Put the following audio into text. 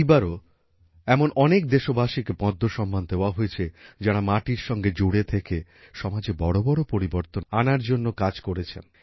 এইবারও এমন অনেক দেশবাসীকে পদ্ম সম্মান দেওয়া হয়েছে যাঁরা মাটির সঙ্গে জুড়ে থেকে সমাজে বড় বড় পরিবর্তন আনার জন্য কাজ করেছেন